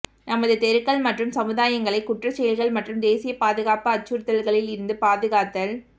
நமது தெருக்கள் மற்றும் சமுதாயங்களை குற்றசெயல்கள் மற்றும் தேசிய பாதுகாப்பு அச்சுறுத்தல்களிலிருந்து பாதுகாத்தல்